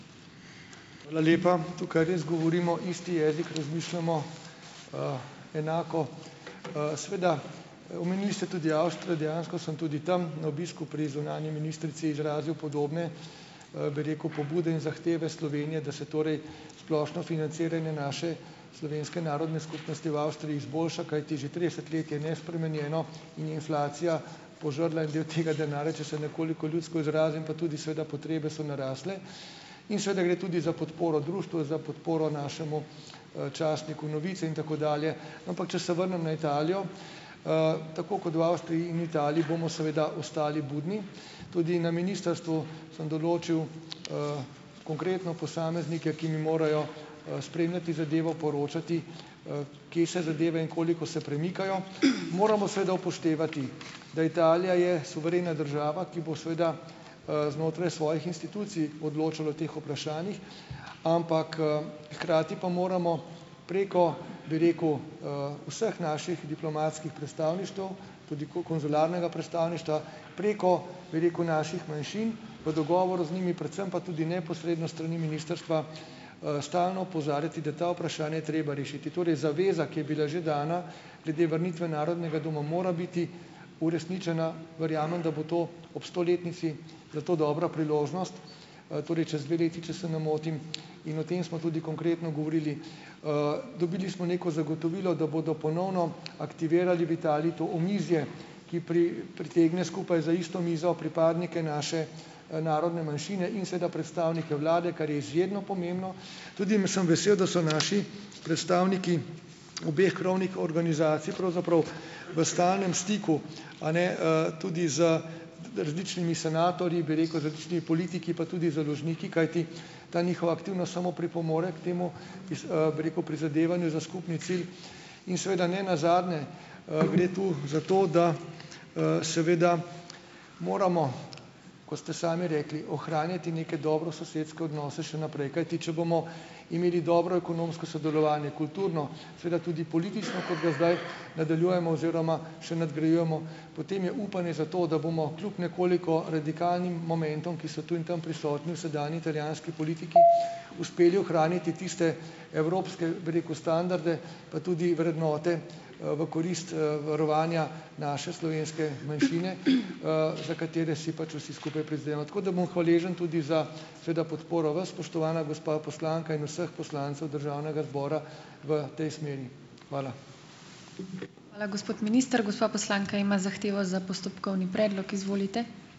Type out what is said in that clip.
Hvala lepa! Tukaj res govorimo isti jezik, razmišljamo enako. Seveda, omenili ste tudi Avstrijo, dejansko sem tudi tam na obisku pri zunanji ministrici izrazil podobne, bi rekel, pobude in zahteve Slovenije, da se torej splošno financiranje naše slovenske narodne skupnosti v Avstriji izboljša, kajti že trideset let je nespremenjeno in inflacija požrla en del tega denarja, če se nekoliko ljudsko izrazim, pa tudi seveda potrebe so narasle in seveda gre tudi za podporo društvu za podporo našemu, časniku Novice in tako dalje. Ampak, če se vrnem na Italijo, tako kot v Avstriji in Italiji bomo seveda ostali budni, tudi na ministrstvu sem določil konkretno posameznike, ki mi morajo, spremljati zadevo, poročati, kje se zadeve in koliko se premikajo. Moramo seveda upoštevati, da Italija je suverena država, ki bo seveda, znotraj svojih institucij odločala o teh vprašanjih, ampak, hkrati pa moramo preko, bi rekel, vseh naših diplomatskih predstavništev, tudi konzularnega predstavništva, preko, bi rekel, naših manjšin, v dogovoru z njimi, predvsem pa tudi neposredno s strani ministrstva, stalno opozarjati, da ta vprašanja je treba rešiti. Torej zaveza, ki je bila že dana, glede vrnitve Narodnega doma mora biti uresničena. Verjamem, da bo to ob stoletnici za to dobra priložnost, torej čez dve leti, če se ne motim. In o tem smo tudi konkretno govorili. Dobili smo neko zagotovilo, da bodo ponovno aktivirali v Italiji to omizje, ki pritegne skupaj za isto mizo pripadnike naše, narodne manjšine in seveda predstavnike vlade, kar je izjemno pomembno. Tudi sem vesel, da so naši predstavniki obeh krovnih organizacij pravzaprav v stalnem stiku, a ne, tudi z različnimi senatorji, bi rekel, različnimi politiki, pa tudi založniki, kajti ta njihova aktivnost samo pripomore k temu, bi rekel, prizadevanju za skupni cilj. In seveda ne nazadnje, gre tu za to, da, seveda moramo, ko ste sami rekli, ohranjati neke dobrososedske odnose še naprej, kajti če bomo imeli dobro ekonomsko sodelovanje, kulturno, seveda tudi politično, kot do zdaj nadaljujemo oziroma še nadgrajujemo, potem je upanje za to, da bomo kljub nekoliko radikalnim momentom, ki so tu in tam prisotni v sedanji italijanski politiki, uspeli ohraniti tiste evropske, bi rekel, standarde, pa tudi vrednote, v korist, varovanja naše slovenske manjšine, za katere si pač vsi skupaj prizadevamo. Tako da bom hvaležni tudi za seveda podporo vas, spoštovana gospa poslanka, in vseh poslancev državnega zbora v tej smeri. Hvala.